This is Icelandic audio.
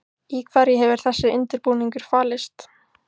Í hverju hefur þessi undirbúningur falist?